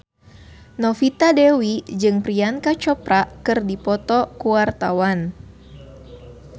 Novita Dewi jeung Priyanka Chopra keur dipoto ku wartawan